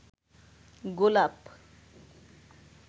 গোলাপ